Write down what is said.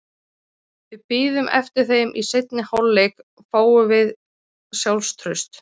Við biðum eftir þeim og í seinni hálfleik fáum við sjálfstraust.